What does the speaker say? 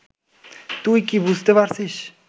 তুই কি বুঝতে পারছিস